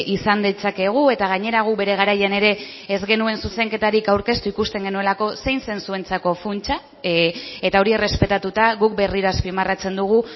izan ditzakegu eta gainera gu bere garaian ere ez genuen zuzenketarik aurkeztu ikusten genuelako zein zen zuentzako funtsa eta hori errespetatuta guk berriro azpimarratzen dugu